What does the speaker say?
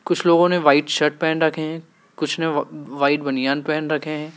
कुछ लोगों ने व्हाइट शर्ट पहन रखे हैं कुछ व्हाइट बनियान पहन रखे हैं।